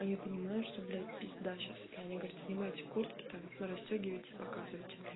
а я понимаю что блять пизда сейчас и они говорят снимайте куртки там расстёгивайте и показывайте бля